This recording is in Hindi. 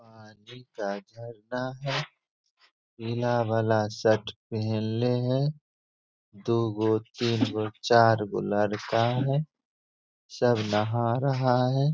पानी का झरना है। नीला वाला शर्ट पहनले है। दू गो तीनगो चारगो लड़का है। सब नहा रहा है।